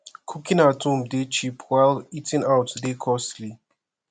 cooking at home de cheap while eating out de costly